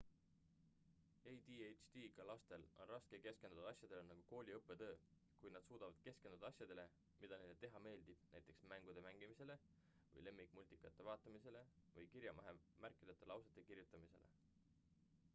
adhd-ga lastel on raske keskenduda asjadele nagu kooli õppetöö kuid nad suudavad keskenduda asjadele mida neile teha meeldib näiteks mängude mängimisele või lemmikmultikate vaatamisele või kirjavahemärkideta lausete kirjutamisele